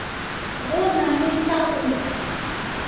go na le sa go